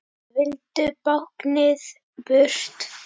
Vildu báknið burt.